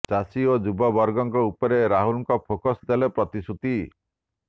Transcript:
ଚାଷୀ ଓ ଯୁବ ବର୍ଗଙ୍କ ଉପରେ ରାହୁଲଙ୍କ ଫୋକସ ଦେଲେ ପ୍ରତିଶ୍ରୁତି